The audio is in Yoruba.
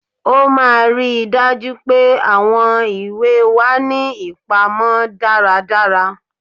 Ó máà ri daju pe àwọn ìwé wá ní ipamó dàrá dàrá